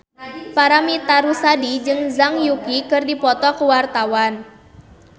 Paramitha Rusady jeung Zhang Yuqi keur dipoto ku wartawan